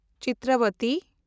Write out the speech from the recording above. ᱪᱤᱛᱨᱟᱵᱚᱛᱤ